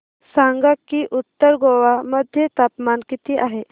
सांगा की उत्तर गोवा मध्ये तापमान किती आहे